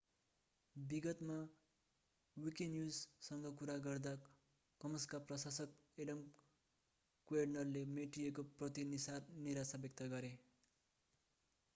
विगतमा विकीन्युजसँग कुरा गर्दा कमन्सका प्रशासक एडम कुएर्डनले मेटिएको प्रति निराशा व्यक्त गरे